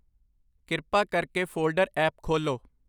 ਕਿਰਪਾ ਕਰਕੇ folder app ਖੋਲ੍ਹੋ